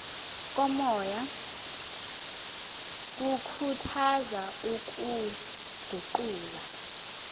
komoya kukhuthaza ukuguqula